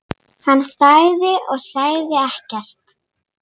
Hann þagði og sagði ekkert.